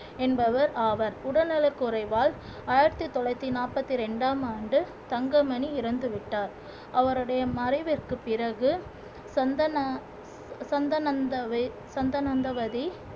என்பவர் ஆவார் உடல்நலக் குறைவால் ஆயிரத்தி தொள்ளாயிரத்தி நாற்பத்தி இரண்டாம் ஆண்டு தங்கமணி இறந்துவிட்டார் அவருடைய மறைவிற்குப் பிறகு சந்தன சந்தனந்தாவை சந்தனந்தவதி